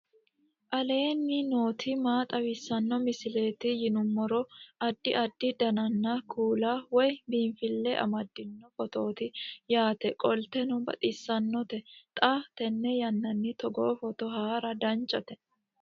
aleenni nooti maa xawisanno misileeti yinummoro addi addi dananna kuula woy biinfille amaddino footooti yaate qoltenno baxissannote xa tenne yannanni togoo footo haara danchate